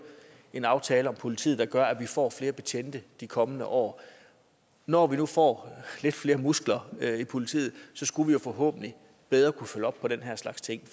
en aftale om politiet der gør at vi får flere betjente i de kommende år når vi nu får lidt flere muskler i politiet skulle vi forhåbentlig bedre kunne følge op på den her slags ting